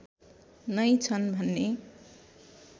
नै छ्न् भन्ने